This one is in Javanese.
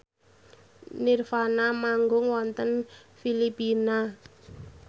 nirvana manggung wonten Filipina